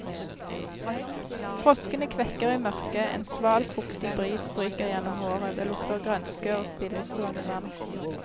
Froskene kvekker i mørket, en sval, fuktig bris stryker gjennom håret, det lukter grønske og stillestående vann.